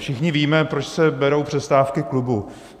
Všichni víme, proč se berou přestávky klubů.